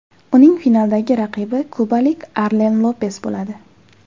Uning finaldagi raqibi kubalik Arlen Lopes bo‘ladi.